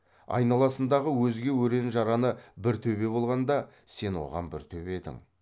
айналасындағы өзге өрен жараны бір төбе болғанда сен оған бір төбе едің